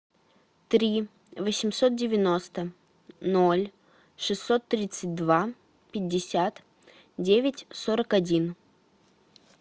три восемьсот девяносто ноль шестьсот тридцать два пятьдесят девять сорок один